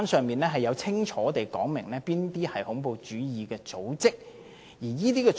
聯合國清楚訂明哪些組織為恐怖主義組織。